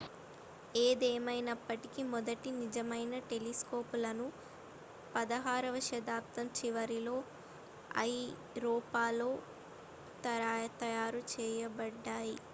ఏదేమైనప్పటికీ మొదటి నిజమైన టెలిస్కోపులను 16వ శతాబ్దం చివరిలో ఐరోపాలో తయారు చేయబడ్డాయి